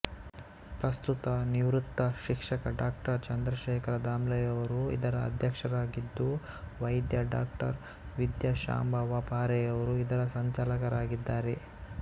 ಪ್ರಸ್ತುತ ನಿವೃತ್ತ ಶಿಕ್ಷಕ ಡಾ ಚಂದ್ರಶೇಖರ ದಾಮ್ಲೆಯವರು ಇದರ ಅಧ್ಯಕ್ಷರಾಗಿದ್ದು ವೈದ್ಯ ಡಾವಿದ್ಯಾಶಾಂಭವ ಪಾರೆಯವರು ಇದರ ಸಂಚಾಲಕರಾಗಿದ್ದಾರೆ